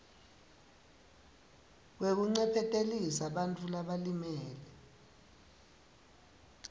wekuncephetelisa bantfu labalimele